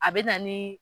A bɛ na ni